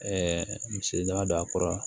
misi daba don a kɔrɔ